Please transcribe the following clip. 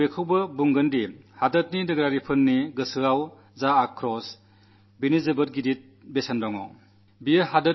പക്ഷേ മകനേ രാജ്യത്തെ പൌരന്മാരുടെ മനസ്സിലെ രോഷത്തിന് വലിയ വിലയുണ്ടെന്നും ഞാൻ പറയും